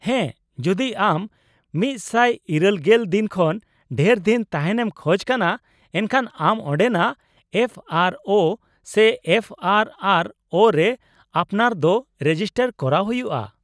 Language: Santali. -ᱦᱮᱸ, ᱡᱩᱫᱤ ᱟᱢ ᱑᱘᱐ ᱫᱤᱱ ᱠᱷᱚᱱ ᱰᱷᱮᱨ ᱫᱤᱱ ᱛᱟᱦᱮᱱ ᱮᱢ ᱠᱷᱚᱡ ᱠᱟᱱᱟ ᱮᱱᱠᱷᱟᱱ ᱟᱢ ᱚᱸᱰᱮᱱᱟᱜ ᱮᱯᱷᱹ ᱟᱨᱹ ᱳ ᱥᱮ ᱮᱯᱷᱹ ᱟᱨᱹ ᱟᱨᱹ ᱳ ᱨᱮ ᱟᱯᱱᱟᱨ ᱫᱚ ᱨᱮᱡᱤᱥᱴᱟᱨ ᱠᱚᱨᱟᱣ ᱦᱩᱭᱩᱜᱼᱟ ᱾